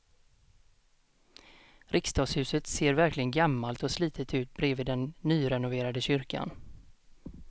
Riksdagshuset ser verkligen gammalt och slitet ut bredvid den nyrenoverade kyrkan.